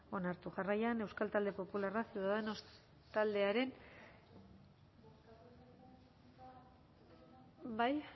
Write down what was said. onartu jarraian euskal talde popularra ciudadanos taldearen bai